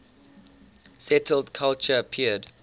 settled culture appeared